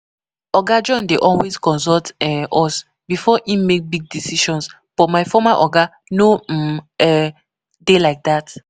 Oga John dey always consult um us before im make big decisions but my former oga no um um dey like dat